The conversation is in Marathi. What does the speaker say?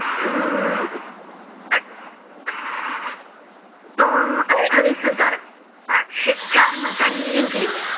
त अं अठ्ठावीस हजार आठशे चार मतांनी जिंकली.